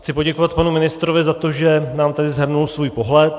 Chci poděkovat panu ministrovi za to, že nám tady shrnul svůj pohled.